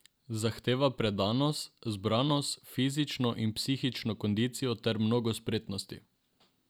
Zahteva predanost, zbranost, fizično in psihično kondicijo ter mnogo spretnosti.